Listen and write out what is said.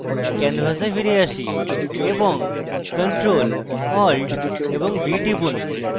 canvas ফিরে alt এবং ctrl + alt + v টিপুন